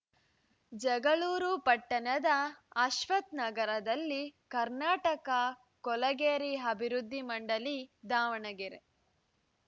ಜಗಳೂರು ಪಟ್ಟಣದ ಅಶ್ವಥ್‌ನಗರದಲ್ಲಿ ಕರ್ನಾಟಕ ಕೊಳಗೇರಿ ಅಭಿವೃದ್ದಿ ಮಂಡಳಿ ದಾವಣಗೆರೆ